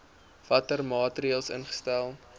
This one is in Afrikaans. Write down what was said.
watter maatreëls ingestel